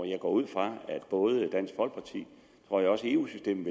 jeg går ud fra at både dansk folkeparti og også eu systemet